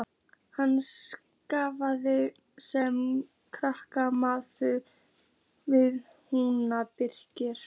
Hann starfar sem kranamaður við húsbyggingar.